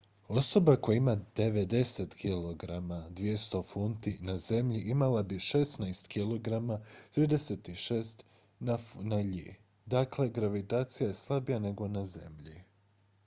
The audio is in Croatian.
osoba koja ima 90 kg 200 funti na zemlji imala bi 16 kg 36 funti na iji. dakle gravitacija je slabija nego na zemlji